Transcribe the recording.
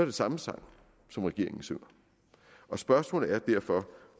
det samme sang som regeringen synger spørgsmålet er derfor